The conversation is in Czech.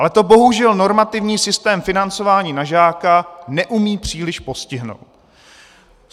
Ale to bohužel normativní systém financování na žáka neumí příliš postihnout.